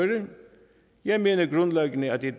jeg mener grundlæggende at i